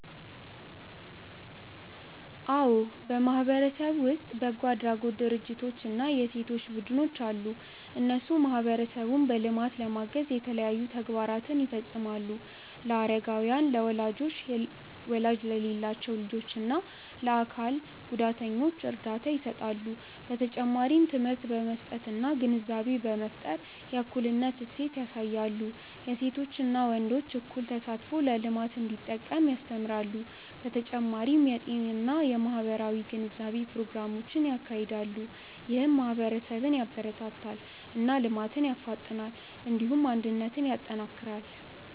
አዎ በማህበረሰብ ውስጥ በጎ አድራጎት ድርጅቶች እና የሴቶች ቡድኖች አሉ። እነሱ ማህበረሰቡን በልማት ለማገዝ የተለያዩ ተግባራትን ይፈጽማሉ። ለአረጋውያን፣ ለወላጅ የሌላቸው ልጆች እና ለአካል ጉዳተኞች እርዳታ ይሰጣሉ። በተጨማሪም ትምህርት በመስጠት እና ግንዛቤ በመፍጠር የእኩልነት እሴት ያሳያሉ። የሴቶችና ወንዶች እኩል ተሳትፎ ለልማት እንዲጠቅም ያስተምራሉ። በተጨማሪም የጤና እና የማህበራዊ ግንዛቤ ፕሮግራሞችን ያካሂዳሉ። ይህም ማህበረሰብን ያበረታታል እና ልማትን ያፋጥናል። እንዲሁም አንድነትን ያጠናክራል።